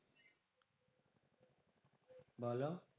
বোলো?